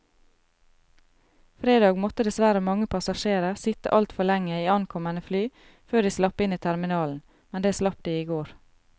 Fredag måtte dessverre mange passasjerer sitte altfor lenge i ankommende fly før de slapp inn i terminalen, men det slapp de i går.